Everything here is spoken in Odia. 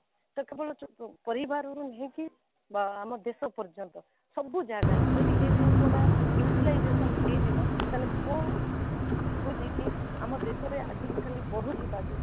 ଯେ କେବଳ ପରିବାରର ନୁହେଁ କି ବା ଆମ ଦେଶ ପର୍ଯ୍ୟନ୍ତ ସବୁ ଜାଗାରେ ଯଦି ଏ ଜିନିଷ ଗୁଡା utilization ହେଇ ଯିବ ତାହେଲେ ମୁଁ ମୁଁ ଯଉ ଭାବୁଛି କି ଆମ ଦେଶରେ ଆଜି କାଲି ବଢ଼ୁ ଥିବା ଯଉ